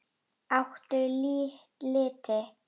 Áttu liti?